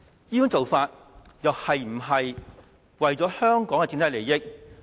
這種做法又是否為了香港的整體利益？